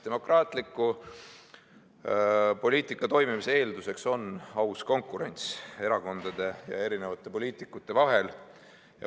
Demokraatliku poliitika toimimise eelduseks on aus konkurents erakondade ja poliitikute vahel.